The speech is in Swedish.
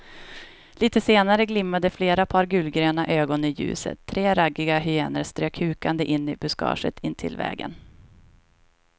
Litet senare glimmade flera par gulgröna ögon i ljuset, tre raggiga hyenor strök hukande in i buskaget intill vägen.